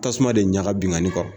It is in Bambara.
Tasuma de ɲaga binkanni kɔrɔ.